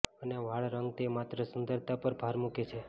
અને વાળ રંગ તે માત્ર સુંદરતા પર ભાર મૂકે છે